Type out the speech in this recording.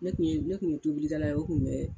Ne kun ye, ne kun ye tobilikɛla ye o kun bɛ.